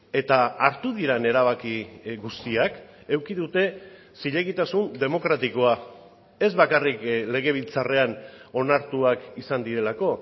eta hartu diren erabaki guztiak eduki dute zilegitasun demokratikoa ez bakarrik legebiltzarrean onartuak izan direlako